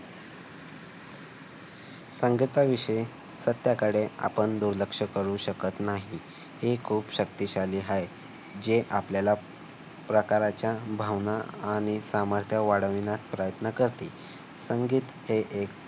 संगीताविषयी सध्याकडे आपण दुर्लक्ष करू शकत नाही. हे खूप शक्तिशाली आहे. जे आपल्याला प्रकारच्या भावना आणि सामर्थ्य वाढवण्यास प्रयत्न करते. संगीत हे एक